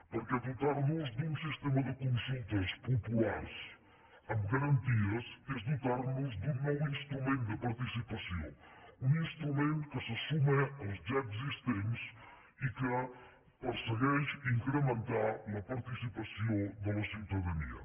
perquè dotar nos d’un sistema de consultes populars amb garanties és dotar nos d’un nou instrument de participació un instrument que se suma als ja existents i que persegueix incrementar la participació de la ciutadania